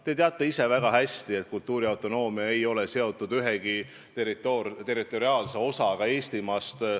Te teate väga hästi, et kultuuriautonoomia ei ole seotud ühegi territoriaalse osaga Eestimaast.